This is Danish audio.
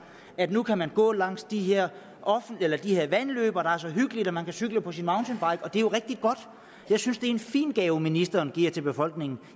at man nu kan gå langs de her vandløb og det så hyggeligt og man kan cykle på sin mountainbike og det er jo rigtig godt jeg synes det er en fin gave ministeren giver til befolkningen